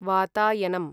वातायनम्